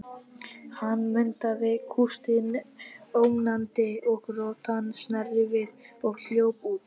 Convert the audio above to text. Hann mundaði kústinn ógnandi og rottan sneri við og hljóp út.